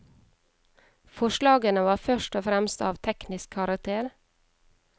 Forslagene var først og fremst av teknisk karakter.